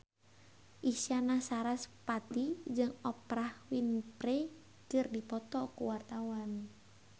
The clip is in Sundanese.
Isyana Sarasvati jeung Oprah Winfrey keur dipoto ku wartawan